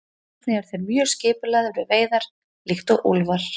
Einnig eru þeir mjög skipulagðir við veiðar líkt og úlfar.